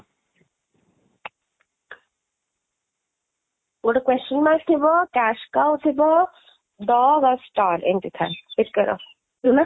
ଗୋଟେ question mark ଥିବ, cash cow ଥିବ, dog ଆଉ star ଏମିତି ଥାଏ, ଟିକେ ରହ